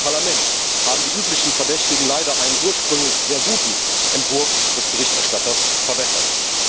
Im Parlament haben die üblichen Verdächtigen leider einen ursprünglich sehr guten Entwurf des Berichterstatters verwässert.